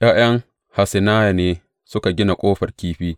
’Ya’yan Hassenaya ne suka gina Ƙofar Kifi.